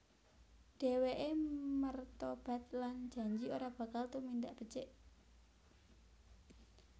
Dheweke mertobat lan janji ora bakal tumindak becik